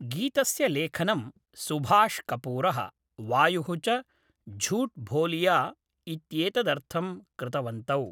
गीतस्य लेखनं सुभाष् कपूरः, वायुः च झूठ बोलिया इत्येतदर्थं कृतवन्तौ।